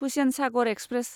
Hussain Sagar express